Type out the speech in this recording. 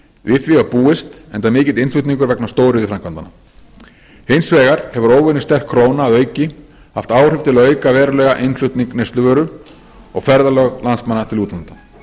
við því var búist enda mikill innflutningur vegna stóriðjuframkvæmdanna hins vegar hefur óvenju sterk króna að auki haft áhrif til að auka verulega innflutning neysluvöru og ferðalög landsmanna til útlanda